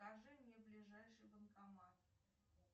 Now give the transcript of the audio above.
скажи мне ближайший банкомат